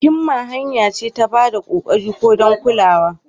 Himma hanya ce ta ba da kokarin ku don kulawa.